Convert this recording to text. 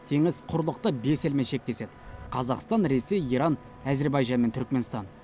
теңіз құрлықта бес елмен шектеседі қазақстан ресей иран әзербайжан мен түрікменстан